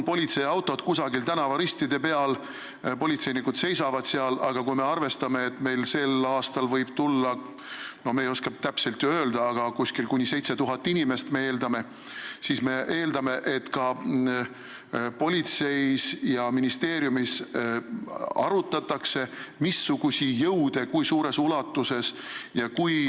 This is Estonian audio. Politseiautod on olnud kusagil tänavaristide peal, politseinikud on seal seisnud, aga kui me arvestame, et sel aastal võib tulla meie üritusele – me ei oska täpselt ju öelda – kuni 7000 inimest, siis me eeldame, et ka politseis ja ministeeriumis arutatakse, missuguseid jõude, kui suures ulatuses ja kui ...